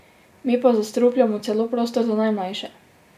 Mi pa zastrupljamo celo prostor za najmlajše!